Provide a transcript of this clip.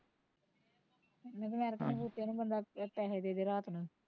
ਬੂਟਿਆ ਨੂੰ ਬੰਦਾ, ਪੈਸੇ ਦੇਦੇ ਰਾਤ ਨੂੰ